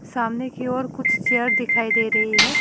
सामने की ओर कुछ चेयर दिखाई दे रही हैं।